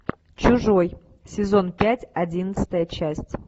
чужой сезон пять одиннадцатая часть